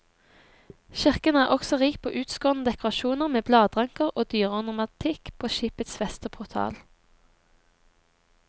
Kirken er også rik på utskårne dekorasjoner med bladranker og dyreornamentikk på skipets vestportal.